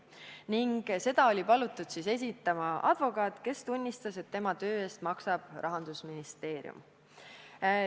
Ning seda oli palutud esitama advokaat, kes tunnistas, et tema töö eest maksab Rahandusministeerium.